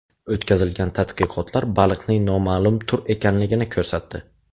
O‘tkazilgan tadqiqotlar baliqning noma’lum tur ekanligini ko‘rsatdi.